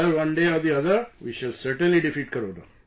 Sir, one day or the other, we shall certainly defeat Corona